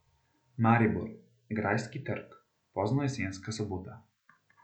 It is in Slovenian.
Maribor, Grajski trg, poznojesenska sobota.